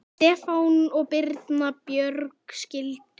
Stefán og Birna Björg skildu.